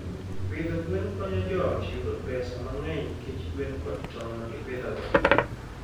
Pidho gwen konyo joot yudo pesa mang'eny nikech gwen kod tong' ma gipidhogo.